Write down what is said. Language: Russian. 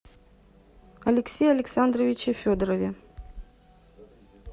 алексее александровиче федорове